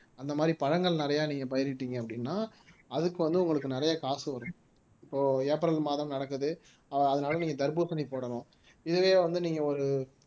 அந்த மாதிரி பழங்கள் நிறையா நீங்க பயிரிட்டீங்க அப்படின்னா அதுக்கு வந்து உங்களுக்கு நிறைய காசு வரும் இப்போ ஏப்ரல் மாதம் நடக்குது அதனால நீங்க தர்பூசணி போடணும் இதுவே வந்து நீங்க ஒரு